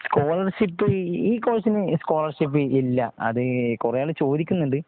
സ് collar ship ഈ കോഴ്സിന് സ്കോളർഷിപ് ഇല്ല. അതെ കുറെ ആൾ ചോദിക്കുന്നുണ്ട്.